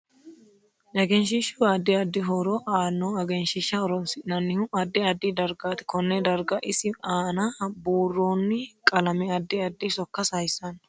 Egnshiihus addi addi horo aanno egenshiisha horoonsinanihu addi addi dargaati konne darga isi aana buurooni qalame addi addi sokka sayiisanno